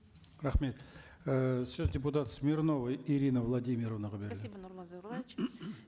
рахмет і сөз депутат смирнова ирина владимировнаға беріледі спасибо нурлан зайроллаевич